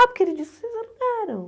Ah, porque ele disse que vocês alugaram.